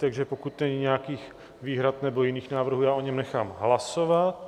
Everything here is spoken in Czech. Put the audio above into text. Takže pokud není nějakých výhrad nebo jiných návrhů, já o něm nechám hlasovat.